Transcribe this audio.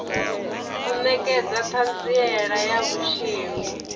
u nekedza thanziela ya vhutshilo